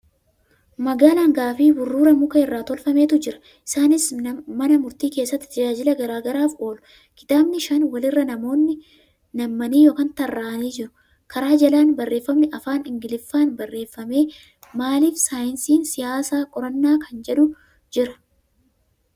Madaala hangaa fi burruura muka irraa tolfametu jira. Isaanis nana murtii keessatti tajaajila garagaraaf oolu. Kitaabni shan walirra nammanii (tarraa'anii) jiru. Kara jalaan barreeffamni Afaan Ingiliffaa barreeffame 'Maaliif saayinsii siyaasaa qoranna' kan jedhu jira.